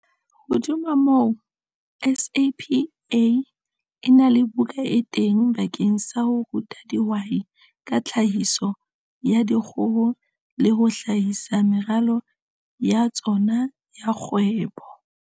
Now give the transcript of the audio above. Hodima moo, SAPA e na le buka e teng bakeng sa ho ruta dihwai ka tlhahiso ya dikgoho le ho hlahisa meralo ya tsona ya kgwebo.